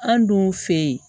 An dun fɛ yen